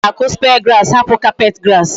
I gara aku spear grass hapu carpet grass?